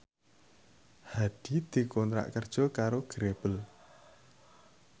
Hadi dikontrak kerja karo Grebel